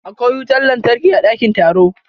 Akwai wutar lantarki a dakin taro.